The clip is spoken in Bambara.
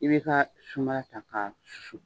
I bɛ taa sunbala ta ka susun.